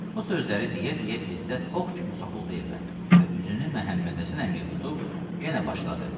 Bu sözləri deyə-deyə İzzət ox kimi soxuldu evə və üzünü Məhəmmədhəsən əmiyə tutub, yenə başladı.